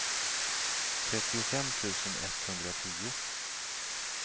trettiofem tusen etthundratio